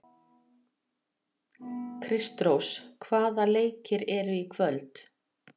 Kristrós, hvaða leikir eru í kvöld?